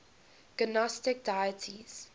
gnostic deities